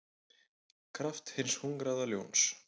kraft hins hungraða ljóns.